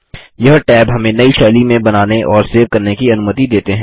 यह टैब हमें नई शैली में बनाने और सेव करने की अनुमति देते हैं